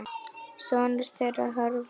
Sonur þeirra Hörður.